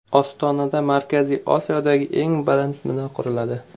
Ostonada Markaziy Osiyodagi eng baland bino quriladi.